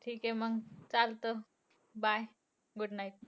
ठीके मंग! चालतं. Bye good night.